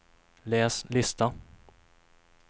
läs lista